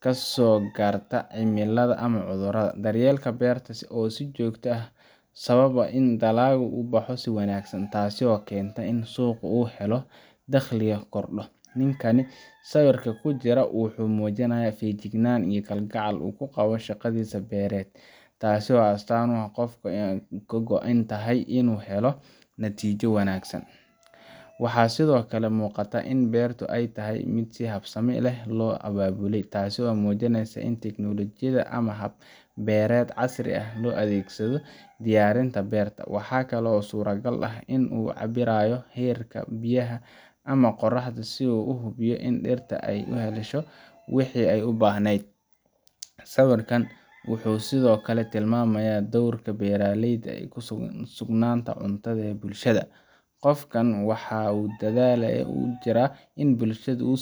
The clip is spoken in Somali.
kasoo gaarta cimilada ama cudurrada. Daryeelka beerta oo joogto ah wuxuu sababaa in dalaggu u baxo si wanaagsan, taasoo keenta in uu suuq u helo, dakhligana kordho. Ninkan sawirka ku jira wuxuu muujinayaa feejignaan iyo kalgacal uu u qabo shaqadiisa beereed, taasoo astaan u ah qof ka go’an inuu helo natiijo wanaagsan. Waxaa sidoo kale muuqata in beertu ay tahay mid si habsami leh loo abaabulay, taasoo muujinaysa in tiknoolojiyada ama hab-beereed casri ah loo adeegsado diyaarinta beerta. Waxa kale oo suurtagal ah in uu cabbirayo heerka biyaha ama qorraxda si uu u hubiyo in dhirta ay helayso wixii ay u baahnayd Sawirkan wuxuu sidoo kale tilmaamayaa doorka beeraleyda ee sugnaanta cunnada ee bulshada – qofkan waxa uu dadaal ugu jiraa in bulshada uu